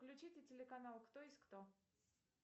включите телеканал кто есть кто